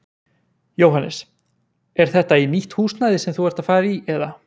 Jóhannes: Er þetta í nýtt húsnæði sem þú ert að fara í eða?